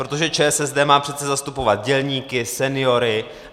Protože ČSSD má přece zastupovat dělníky, seniory.